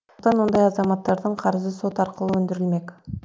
сондықтан ондай азаматтардың қарызы сот арқылы өндірілмек